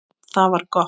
Það var gott.